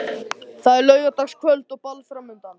Það er laugardagskvöld og ball framundan.